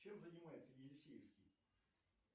чем занимается елисеевский